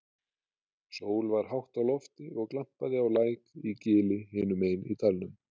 Sól var hátt á lofti og glampaði á læk í gili hinum megin í dalnum.